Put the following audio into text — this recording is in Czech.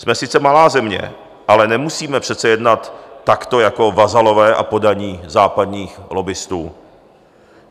Jsme sice malá země, ale nemusíme přece jednat takto jako vazalové a poddaní západních lobbistů.